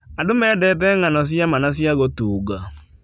Andũ mendete ng'ano cia ma na cia gũtunga.